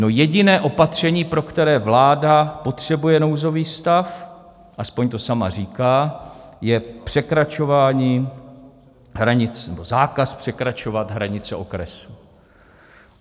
No, jediné opatření, pro které vláda potřebuje nouzový stav, aspoň to sama říká, je zákaz překračovat hranice okresu.